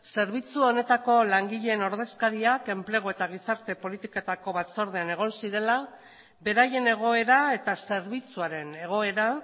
zerbitzu honetako langileen ordezkariak enplegu eta gizarte politiketako batzordean egon zirela beraien egoera eta zerbitzuaren egoera